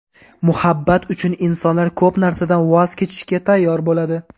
Muhabbat uchun insonlar ko‘p narsadan voz kechishga tayyor bo‘ladi.